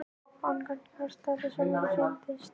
Hann gat gert það sem honum sýndist.